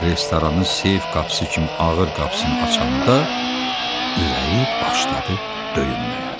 Restoranın seyf qapısı kimi ağır qapısını açanda ürəyi başladı döyünməyə.